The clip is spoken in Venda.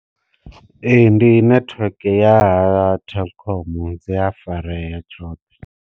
Ee ndi network ya ha telkom dzi a fareya tshoṱhe.